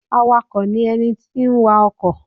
Awakọ ní ẹní ti n wa ọkọ.